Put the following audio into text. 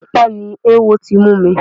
Apá ni ewo ti mú mi.